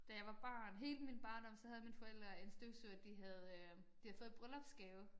Da jeg var barn hele min barndom så havde mine forældre en støvsuger de havde øh de havde fået i bryllupsgave